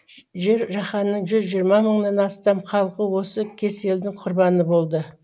жер жаһанның жүз жиырма мыңнан астам халқы осы кеселдің құрбаны болды